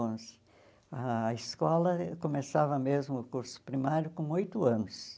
onze. A escola começava mesmo o curso primário com oito anos.